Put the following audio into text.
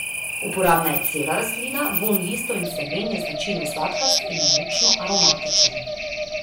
Uporabna je cela rastlina, vonj listov in semen je značilno sladkast in močno aromatičen.